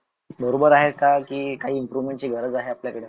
बारोबर आहे का काई Improvement गराज आहे आपल्या कडे?